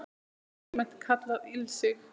Þetta er almennt kallað ilsig